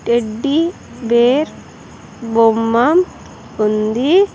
Teddy bear బొమ్మ ఉంది.